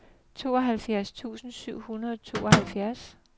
tooghalvfjerds tusind syv hundrede og tooghalvfjerds